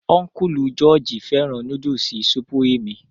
Ọ́nkùlù jọọji fẹ́ràn núdùsì supurimi